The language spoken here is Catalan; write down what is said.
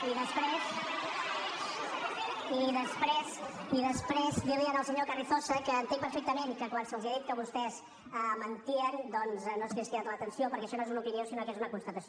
i després dir li al senyor carrizosa que entenc perfectament que quan se’ls ha dit que vostès mentien doncs no els ha cridat l’atenció perquè això no és una opinió sinó que és una constatació